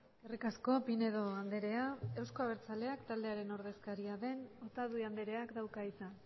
eskerrik asko pinedo andrea euzko abertzaleak taldearen ordezkaria den otadui andreak dauka hitza